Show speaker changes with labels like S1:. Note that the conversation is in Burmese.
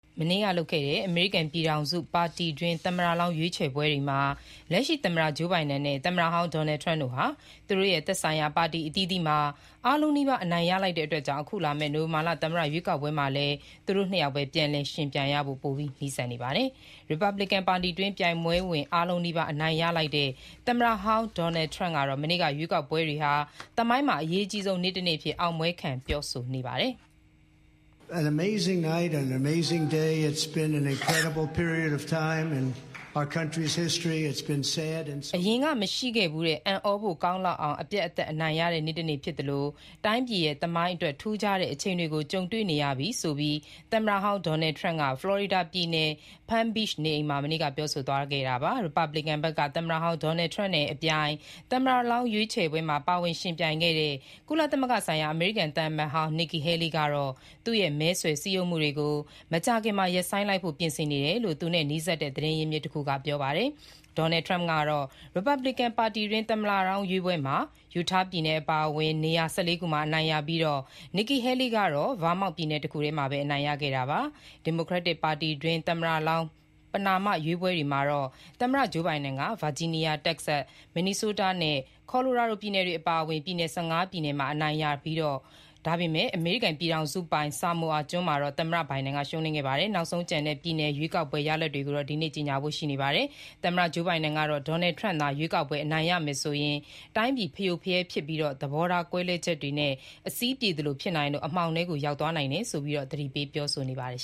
S1: မနေ့ကလုပ်ခဲ့တဲ့ အမေရိကန်ပြည်ထောင်စု ပါတီတွင်း သမ္မတလောင်းရွေးချယ်ပွဲတွေမှာ သမ္မတ Joe Biden နဲ့ သမ္မတဟောင်း Donald Trump တို့ဟာ သူတို့ရဲ့ သက်ဆိုင်ရာ ပါတီအသီးအသီးမှာ အားလုံးနီးပါး အနိုင်ရလိုက်တာကြောင့် အခုလာမယ့် နိုဝင်ဘာလ သမ္မတရွေးကောက်ပွဲမှာလည်း သူတို့ နှစ်ယောက်ပဲပြန်လည် ယှဉ်ပြိုင်ဖို့ ပိုပြီးနီးလာပါတယ်။ ရီပတ်ဘလစ်ကန် ပါတီတွင်း ပြိုင်ပွဲ အားလုံးနီးပါး အနိုင်ရလိုက်တဲ့ သမ္မတဟောင်း Donald Trump ကတော့ မနေ့က ရွေးကောက်ပွဲတွေဟာ သမိုင်းမှာ အရေးကြီးဆုံးနေ့တနေ့အဖြစ် အောင်ပွဲခံ ပြောဆို ပါတယ်။ "
S2: အ
S1: ရင်က မရှိခဲ့ဘူးတဲ့ အံဩဖို့ ကောင်းလောက်အောင် အပြတ်အသတ် အနိုင်ရတဲ့ နေ့တနေ့ ဖြစ်သလို တိုင်းပြည်ရဲ့ သမိုင်းအတွက် ထူးခြားတဲ့ အချိန်တွေကို ကြုံတွေ့နေရပြီ" - ဆိုပြီး သမ္မတဟောင်း Donald Trump က ဖလော်ရီဒါပြည်နယ် Palm Beach နေအိမ်မှာ မနေ့ မတ်လ ၅ ရက်နေ့ညက ပြောဆိုသွားတာပါ။ ရီပတ်ဘလစ်ကန်ဘက်က သမ္မတဟောင်း Donald Trump နဲ့ အပြိုင် သမ္မတလောင်းရွေးချယ်ပွဲမှာ ပါဝင်ယှဉ်ပြိုင်ခဲ့တဲ့ ကုလသမဂ္ဂဆိုင်ရာ အမေရိကန်သံအမတ်ကြီးဟောင်း Nikki Haley ကတော့ သူ့ရဲ့ မဲဆွယ်စည်းရုံးမှုတွေကို မကြာခင်မှာ ရပ်ဆိုင်းလိုက်ဖို့ ပြင်ဆင်နေတယ်လို့ သူနဲ့နီးစပ်တဲ့ သတင်းအရင်းအမြစ်တခုက ဒီကနေ့ပြောပါတယ်။ Donald Trump ကတော့ ရီပတ်ဘလစ်ကန် ပါတီတွင်း သမ္မတလောင်းရွေးပွဲတွေမှာ Utah ပြည်နယ်အပါအဝင် နေရာ ၁၄ ခုမှာ အနိုင်ရပြီး Nikki Haley ကတော့ Vermont ပြည်နယ်တခုထဲမှာပဲ အနိုင်ရခဲ့တာပါ။ ဒီမိုကရက်တစ် ပါတီတွင်း သမ္မတလောင်း ပဏာမ ရွေးပွဲတွေမှာတော့ သမ္မတ Joe Biden က Virginia၊ Texas၊ Minnesota နဲ့ Colorado ပြည်နယ်တွေ အပါအဝင် ပြည်နယ် ၁၅ ပြည်နယ်မှာ အနိုင်ရပြီး ဖြစ်ပါတယ်။ ဒါပေမဲ့ အမေရိကန်ပြည်ထောင်စုပိုင် Samoa ကျွန်း မှာတော့ သမ္မတ Biden ရှုံးနိမ်ခဲ့ပါတယ်။ နောက်ဆုံးကျန်တဲ့ ပြည်နယ် ရွေးကောက်ပွဲ ရလဒ်တွေတော့ ဒီနေ့ ကြေညာဖို့ ရှိပါတယ်။ သမ္မတ Joe Biden ကတော့ Donald Trump သာ ရွေးကောက်ပွဲ အနိုင်ရမယ်ဆိုရင် တိုင်းပြည် ဖရိုဖရဲ ဖြစ်ပြီး သဘောထားကွဲလွဲချက်တွေနဲ့ အစည်းပြေသလို ဖြစ်နိုင်သလို အမှောင်ထဲကို ရောက်သွားနိုင်တယ်ဆိုပြီး သတိပေးပြောဆိုနေပါတယ်